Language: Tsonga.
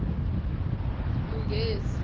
munghezi